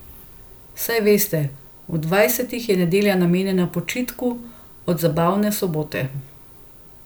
Saj veste, v dvajsetih je nedelja namenjena počitku od zabavne sobote.